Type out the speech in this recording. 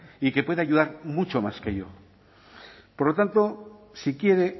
y que puede ayudar mucho más que yo por lo tanto si quiere